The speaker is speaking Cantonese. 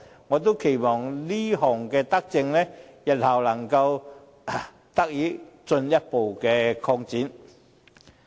我期望這項德政日後能得以進一步擴展。